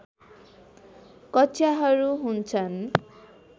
कक्षाहरू हुन्छन्